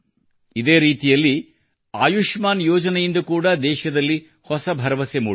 ಇದೇ ರೀತಿಯಲ್ಲಿ ಆಯುಷ್ಮಾನ್ ಯೋಜನೆಯಿಂದ ಕೂಡಾ ದೇಶದಲ್ಲಿ ಹೊಸ ಭರವಸೆ ಮೂಡಿದೆ